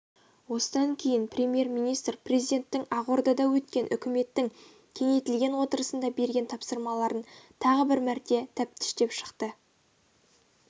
осыдан кейін премьер-министр президенттің ақордада өткен үкіметтің кеңейтілген отырысында берген тапсырмаларын тағы бір мәрте тәптіштеп шықты